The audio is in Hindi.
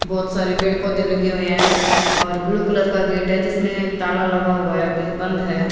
बहोत सारे पेड़ पौधे लगे हुए हैं और ब्लू कलर का गेट है जिसमें ताला लगा हुआ है अभी बंद है।